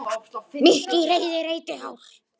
Mitt í reiði reyti hár.